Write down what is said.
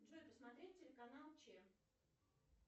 джой посмотреть телеканал че